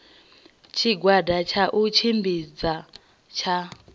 tshigwada tsha u tshimbidza tsha